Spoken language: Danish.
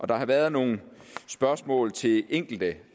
der har været nogle spørgsmål til enkelte